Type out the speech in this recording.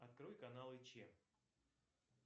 открой каналы че